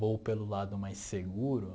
vou pelo lado mais seguro